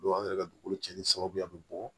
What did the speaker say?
an yɛrɛ ka dugukolo cɛnni sababu bɛ bɔ